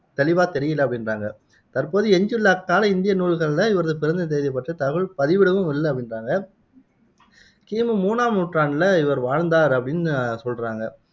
தெளிவா தெரியல அப்படின்றாங்க தற்போது எஞ்சியுள்ள அக்கால நூல்களில இவர் தகவல் பதிவிடவும் இல்ல அப்படின்றாங்க கி மு மூணாம் நூற்றாண்டுல இவர் வாழ்ந்தார் அப்படின்னு சொல்றாங்க